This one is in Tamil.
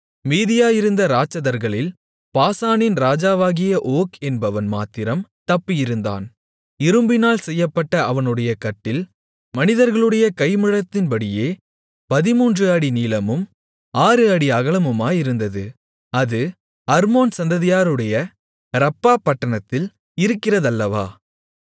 மீதியாயிருந்த இராட்சதர்களில் பாசானின் ராஜாவாகிய ஓக் என்பவன் மாத்திரம் தப்பியிருந்தான் இரும்பினால் செய்யப்பட்ட அவனுடைய கட்டில் மனிதர்களுடைய கை முழத்தின்படியே 13 அடி நீளமும் 6 அடி அகலமுமாயிருந்தது அது அம்மோன் சந்ததியாருடைய ரப்பாபட்டணத்தில் இருக்கிறதல்லவா